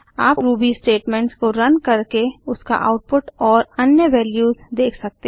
आप Ruby statements को run करके उसका आउटपुट और अन्य वेल्यूस देख सकते हैं